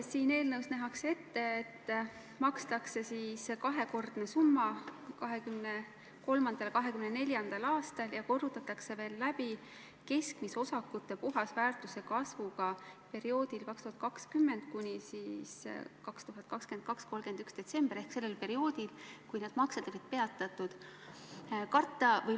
Siin eelnõus nähakse ette, et makstakse kahekordne summa 2023.–2024. aastal ja korrutatakse veel läbi keskmise osakute puhasväärtuse kasvuga perioodil 2020 kuni 2022. aasta 31. detsember ehk sellel perioodil, kui need maksed on peatatud.